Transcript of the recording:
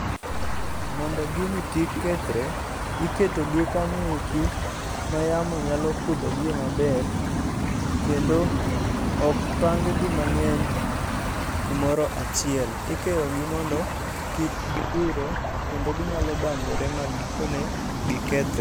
Mondo gini kik kethre, iketo gi kanyoeki, ma yamo nyalo kudho gie maber, kendo okpang gi mang'eny kumoro achiele. Ikeyo gi mondo kik gidire, kendo ginyalo banjore ma gikone gikethre.